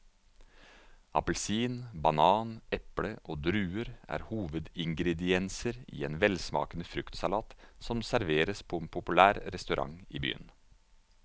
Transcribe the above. Appelsin, banan, eple og druer er hovedingredienser i en velsmakende fruktsalat som serveres på en populær restaurant i byen.